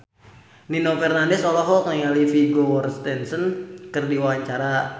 Nino Fernandez olohok ningali Vigo Mortensen keur diwawancara